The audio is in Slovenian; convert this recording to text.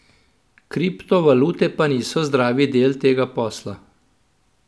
Kriptovalute pa niso zdravi del tega posla.